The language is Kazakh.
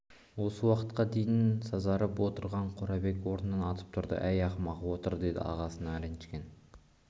осы уақытқа дейін сазарып отырған қорабек орнынан атып тұрды әй ақымақ отыр деді ағасы ренжіген